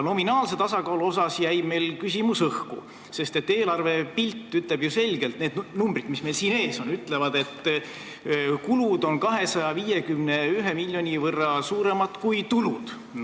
Nominaalse tasakaalu osas jäi meil aga küsimus õhku, sest eelarve pilt näitab ju selgelt, st need numbrid, mis meil siin ees on, ütlevad, et kulud on 251 miljoni võrra suuremad kui tulud.